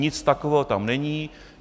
Nic takového tam není.